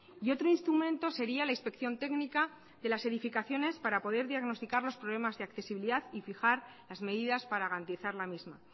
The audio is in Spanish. y otro instrumento sería la inspección técnica de las edificaciones para poder diagnosticar los problemas de accesibilidad y fijar las medidas para garantizar la misma